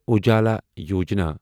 Ujala Yojana